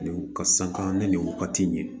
Ka sanga ni nin wagati in ye